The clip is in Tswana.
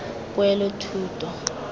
poelothuto